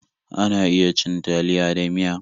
Ana iya cin taliya da miya.